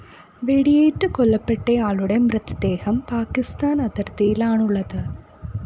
വെടിയേറ്റ് കൊല്ലപ്പെട്ടയാളുടെ മൃതദേഹം പാക്കിസ്ഥാന്‍ അതിര്‍ത്തിയിലാണുള്ളത്